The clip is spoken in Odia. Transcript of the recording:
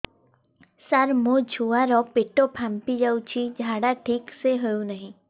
ସାର ମୋ ଛୁଆ ର ପେଟ ଫାମ୍ପି ଯାଉଛି ଝାଡା ଠିକ ସେ ହେଉନାହିଁ